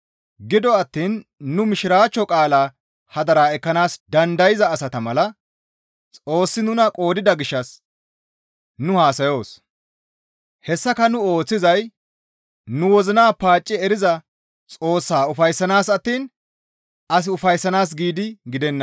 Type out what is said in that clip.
Gido attiin nu Mishiraachcho qaalaa hadara ekkanaas dandayza asata mala Xoossi nuna qoodida gishshas nu haasayoos; hessaka nu ooththizay nu wozina paacci eriza Xoossaa ufayssanaas attiin as ufayssanaas giidi gidenna.